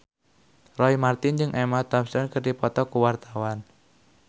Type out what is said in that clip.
Roy Marten jeung Emma Thompson keur dipoto ku wartawan